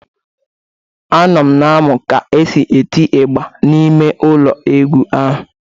Anọ m na-amụ ka e si etị ịgba n'ime ụlọ egwu ahụ.